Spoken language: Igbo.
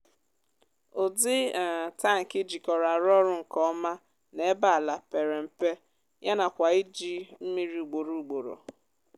udi um tanki jikọrọ arú ọrụ nkè ọma nà ébé àlà pèrè mpē yánàkwà iji mmírí ugbòrò ugbòrò